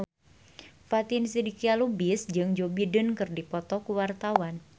Fatin Shidqia Lubis jeung Joe Biden keur dipoto ku wartawan